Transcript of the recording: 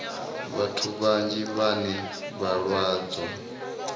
vhathu vhanzhi vhane vha lwadzwa